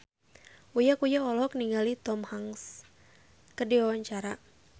Uya Kuya olohok ningali Tom Hanks keur diwawancara